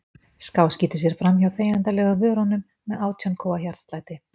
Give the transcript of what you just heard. Skáskýtur sér framhjá þegjandalegum vörunum með átján kúa hjartslætti.